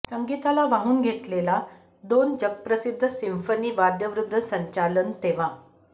संगीताला वाहून घेतलेला दोन जगप्रसिद्ध सिंफनी वाद्यवृंद संचालन तेव्हा